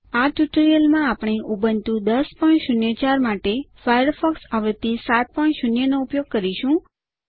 આ ટ્યુટોરીયલમાં આપણે ઉબુન્ટુ ૧૦૦૪ માટે ફાયરફોક્સ આવૃત્તિ 70 નો ઉપયોગ કરીશું